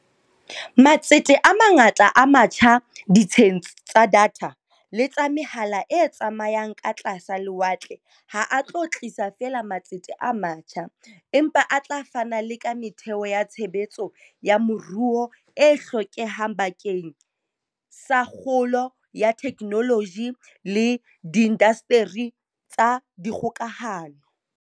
Matsete a mangata a matjha ditsheng tsa datha le tsa mehala e tsamayang ka tlasa lewatle ha a tlo tlisa feela matsete a matjha, empa a tla fana le ka metheo ya tshebetso ya moruo e hlokehang bakeng la kgolo ya theknoloji le diindasteri tsa dikgokahano.